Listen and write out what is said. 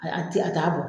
A a ti a t'a bɔ